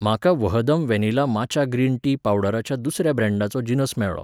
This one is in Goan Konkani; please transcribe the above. म्हाका वहदम वेनिला माचा ग्रीन टी पावडराच्या दुसऱ्या ब्रँडाचो जिनस मेळ्ळो.